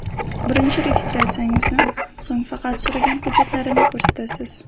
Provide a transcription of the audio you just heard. Birinchi registratsiyangizni, so‘ng faqat so‘ragan hujjatlarini ko‘rsatasiz.